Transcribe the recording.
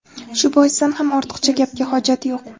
Shu boisdan ham ortiqcha gapga hojat yo‘q.